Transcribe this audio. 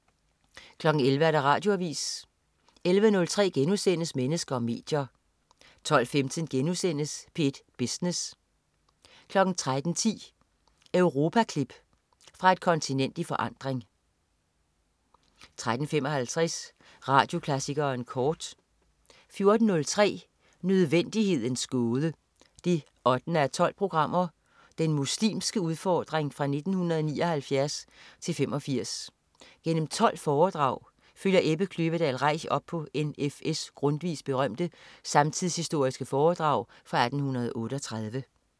11.00 Radioavis 11.03 Mennesker og medier* 12.15 P1 Business* 13.10 Europaklip. Fra et kontinent i forandring 13.55 Radioklassikeren kort 14.03 Nødvendighedens Gåde 8:12. Den muslimske udfordring (1979-85). Gennem 12 foredrag følger Ebbe Kløvedal Reich op på N.F.S Grundtvigs berømte samtidshistoriske foredrag fra 1838